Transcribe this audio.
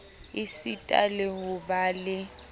esita le ho ba le